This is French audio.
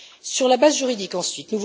Sur la base juridique ensuite.